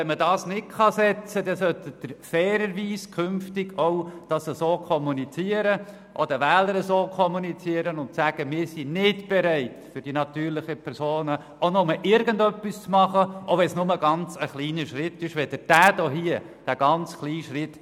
Wenn man dieses nicht setzen kann, sollten Sie das fairerweise künftig auch gegenüber den Wählern so kommunizieren und sagen, Sie seien nicht bereit, für die natürlichen Personen auch nur irgendetwas zu tun, sei es auch nur ein ganz kleiner Schritt.